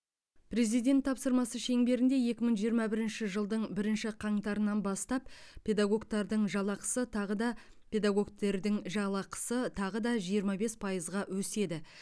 президент тапсырмасы шеңберінде екі мың жиырма бірінші жылдың бірінші қаңтарынан бастап педагогтартың жалақысы тағы да педагогтердің жалақысы тағы да жиырма бес пайызға өседі